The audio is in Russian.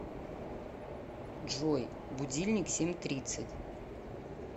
джой будильник семь тридцать